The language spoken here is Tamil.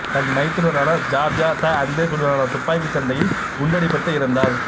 தன் மைத்துனரான ஜார்ஜா த அந்தேசுடனான துப்பாக்கிச் சண்டையில் குண்டடிபட்டு இறந்தார்